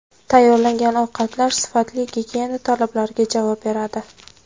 Tayyorlangan ovqatlar sifatli, gigiyena talablariga javob beradi.